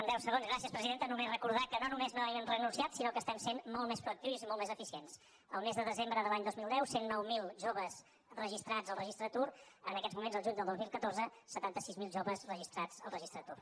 gràcies presidenta només recordar que no només no hi hem renunciat sinó que estem sent molt més proactius i molt més eficients el mes de desembre de l’any dos mil deu cent i nou mil joves registrats en el registre d’atur en aquests moments el juny de dos mil catorze setanta sis mil joves registrats en el registre d’atur